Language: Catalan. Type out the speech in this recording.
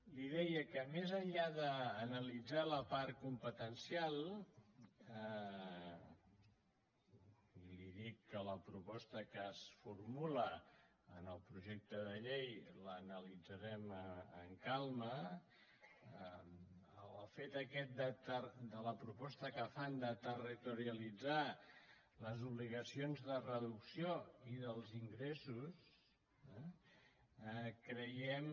li deia que més enllà d’analitzar la part competencial i li dic que la proposta que es formula en el projecte de llei l’analitzarem amb calma el fet aquest de la proposta que fan de territorialitzar les obligacions de reducció i dels ingressos creiem